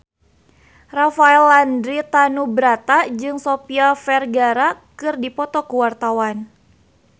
Rafael Landry Tanubrata jeung Sofia Vergara keur dipoto ku wartawan